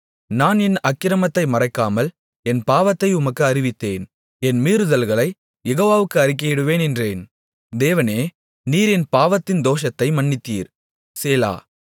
நான் என் அக்கிரமத்தை மறைக்காமல் என் பாவத்தை உமக்கு அறிவித்தேன் என் மீறுதல்களைக் யெகோவாவுக்கு அறிக்கையிடுவேன் என்றேன் தேவனே நீர் என் பாவத்தின் தோஷத்தை மன்னித்தீர் சேலா